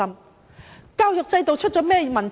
究竟教育制度出了甚麼問題？